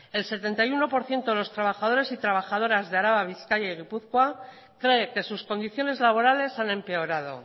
el setenta y uno por ciento de los trabajadores y trabajadoras de araba bizkaia y gipuzkoa cree que sus condiciones laborales han empeorado